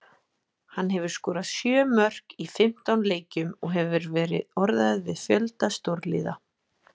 Hann hefur skorað sjö mörk í fimmtán leikjum og hefur verið orðaður við fjölda stórliða.